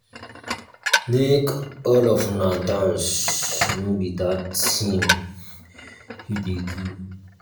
make all of una dance no be dat thing you dey do